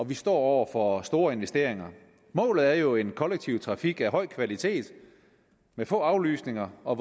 vi står over for store investeringer målet er jo en kollektiv trafik af høj kvalitet med få aflysninger og